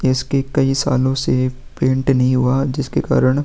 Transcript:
इसके कई सालो से पेंट नही हुआ जिसके कारण --